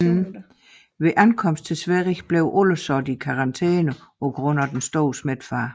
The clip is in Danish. Ved ankomsten til Sverige blev alle sat i karantæne på grund af den store smittefare